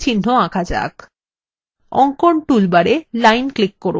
অঙ্কন toolbar a line click করুন